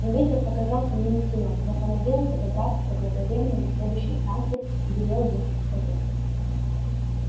но ветер показался мне не силен я понадеялся добраться заблаговременно до следующей станции и велел ехать скорее